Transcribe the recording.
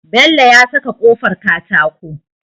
Bello ya saka kofar katako